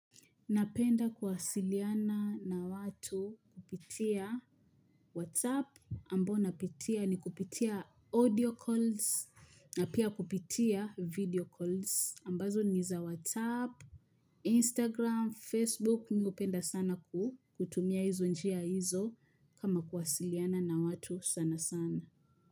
Napenda kuwasiliana na watu kupitia WhatsApp ambao napitia nikupitia audio calls na pia kupitia video calls ambazo ni za WhatsApp, Instagram, Facebook mi upenda sana kutumia hizo njia hizo kama kuwasiliana na watu sana sana.